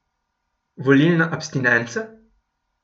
Volilna abstinenca?